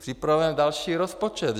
Připravujeme další rozpočet.